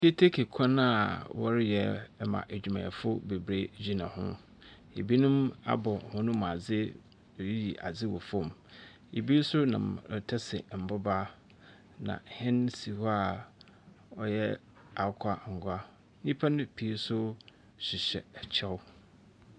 Keteke kwan a ɔreyɛ ama adwumayɛfo bebree gyina ho. Ɛbinom abɔ wɔn mu ase reyiyi ade wɔ fɔm, ɛbi nso nam retase mboba, na ɛhyɛn si hɔ a ɔyɛ akokɔango. Nnipa pii nso hyehyɛ ɛkyɛw.